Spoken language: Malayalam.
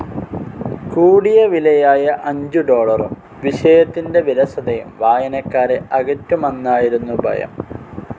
കൂടിയവിലയായ അഞ്ചു ഡോളറും, വിഷയത്തിന്റെ വിരസതയും വായനക്കാരെ അകറ്റുമന്നായിരുന്നു ഭയം.